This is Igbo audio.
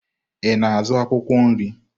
Ị na-azụ akwụkwọ nri?